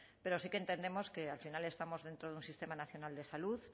pero sí que entendemos que al final estamos dentro de un sistema nacional de salud